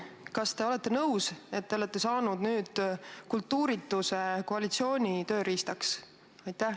Kas te olete nõus, et olete saanud nüüd kultuurituse koalitsiooni tööriistaks?